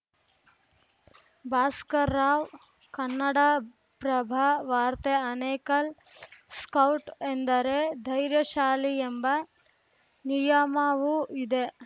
ಭಾಸ್ಕರ್‌ರಾವ್‌ ಕನ್ನಡಪ್ರಭ ವಾರ್ತೆ ಆನೇಕಲ್‌ ಸ್ಕೌಟ್‌ ಎಂದರೆ ಧೈರ್ಯಶಾಲಿ ಎಂಬ ನಿಯಮವೂ ಇದೆ